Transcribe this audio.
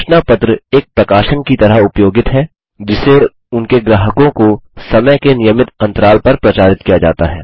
सूचना पत्र एक प्रकाशन की तरह उपयोगित है जिसे उनके ग्राहकों को समय के नियमित अन्तराल पर प्रचारित किया जाता है